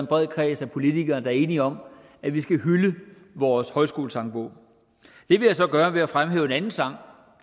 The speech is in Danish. bred kreds af politikere der er enige om at vi skal hylde vores højskolesangbog det vil jeg så gøre ved at fremhæve en anden sang